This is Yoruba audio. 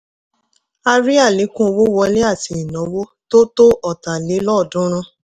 a rí àlékún owó wọlé àti ìnáwó tó tó ọ̀tálelọ́ọ̀dúnrún.